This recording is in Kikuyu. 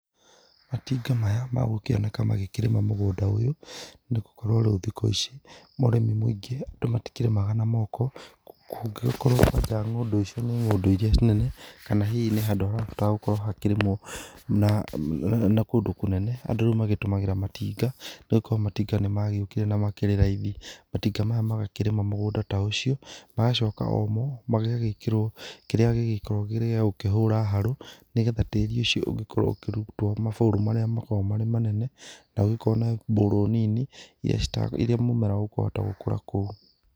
Matinga maya magũkĩonekana magĩkĩrĩma mũgũnda nĩ gũkorwo rĩu thikũ ici ũrĩmi muĩngĩ andũ matikĩrĩmaga na moko ngũngĩkorwo kwanja ng'ũndũ icio ni ng'ũndũ irĩa nene kana hihi ni handũ harabatara gũkorwo hakĩrĩmwo, na kũndũ kũnene andũ rĩu matũmagĩra matinga nĩ gũkorwo matinga nĩ mokire na makĩrĩ raithi, matinga maya magakĩrĩma mũgũnda ta ũcio magacoka omo magagĩkĩrwo kĩrĩa gĩkoragwo gĩkĩrĩ gĩa kũhura harũ nĩgetha tĩrĩ ũcio ũgĩkorwo ũkĩrũtwo maboru marĩa makoragwo marĩ manene na ũgĩkorwo na mbũrũ nini irĩa mũmera ũkũhota gũkũra kũu.